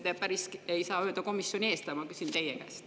Muidugi te ei saa päris öelda komisjoni eest, aga ma küsin teie käest.